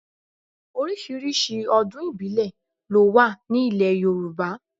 Oríṣiríṣi ọdún ìbílẹ̀ ló wà ní ile Yorùbá.